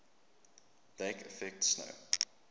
lake effect snow